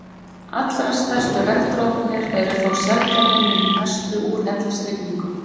Allra stærstu regndroparnir eru þó sjaldgæfir nema í verstu úrhellisrigningum.